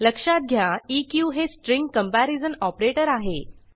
लक्षात घ्या इक हे स्ट्रिंग कंपॅरिझन ऑपरेटर आहे